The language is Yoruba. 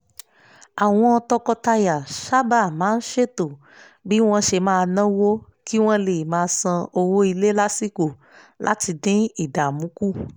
àwọn tọkọtaya sáábà máa ṣètò bí wọ́n ṣe máa náwó kí wọ́n lè máa san owó ilé lásìkò láti dín ìdààmú kù